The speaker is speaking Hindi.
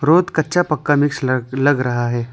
रोड कच्चा पक्का मिक्स लग रहा है।